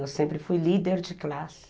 Eu sempre fui líder de classe.